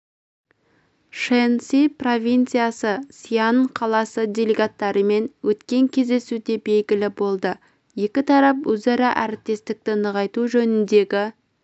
шэньси провинциясы сиань қаласы делегаттарымен өткен кездесуде белгілі болды екі тарап өзара әріптестікті нығайту жөніндегі